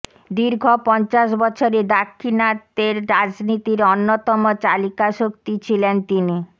দীর্ঘ পঞ্চাশ বছরে দাক্ষিণাত্যের রাজনীতির অন্যতম চালিকাশক্তি ছিলেন তিনি